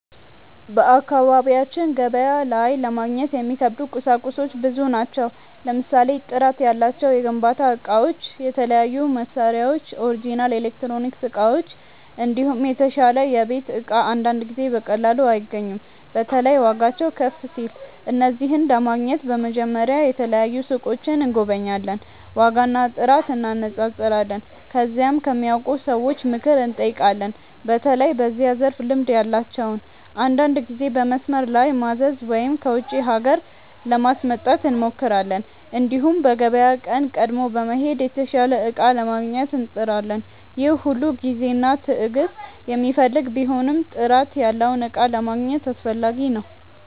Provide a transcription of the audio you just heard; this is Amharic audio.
በአካባቢያችን ገበያ ላይ ለማግኘት የሚከብዱ ቁሳቁሶች ብዙ ናቸው። ለምሳሌ ጥራት ያላቸው የግንባታ እቃዎች፣ የተለያዩ መሳሪያዎች፣ ኦሪጅናል ኤሌክትሮኒክስ እቃዎች፣ እንዲሁም የተሻለ የቤት እቃ አንዳንድ ጊዜ በቀላሉ አይገኙም። በተለይ ዋጋቸው ከፍ ሲል። እነዚህን ለማግኘት በመጀመሪያ የተለያዩ ሱቆችን እንጎበኛለን፣ ዋጋና ጥራት እንነጻጸራለን። ከዚያም ከሚያውቁ ሰዎች ምክር እንጠይቃለን፣ በተለይ በዚያ ዘርፍ ልምድ ያላቸውን። አንዳንድ ጊዜ በመስመር ላይ ማዘዝ ወይም ከውጪ ሀገር ለማስመጣት እንሞክራለን። እንዲሁም በገበያ ቀን ቀድሞ በመሄድ የተሻለ እቃ ለማግኘት እንጥራለን። ይህ ሁሉ ጊዜና ትዕግስት የሚፈልግ ቢሆንም ጥራት ያለውን እቃ ለማግኘት አስፈላጊ ነው።